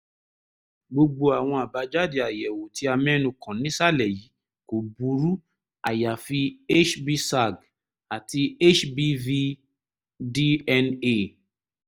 gbogbo àwọn àbájáde àyẹ̀wò tí a mẹ́nu kàn nísàlẹ̀ yìí kò burú àyàfi hbsag àti hbv-dna